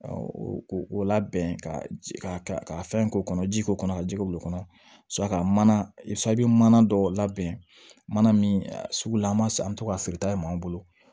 o ko labɛn ka ka fɛn k'o kɔnɔ ji k'o kɔnɔ ka jɛgɛ wulon kɔnɔ suraka mana dɔw labɛn mana min sugu la an b'a to ka sirita ma bolo